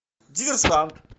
диверсант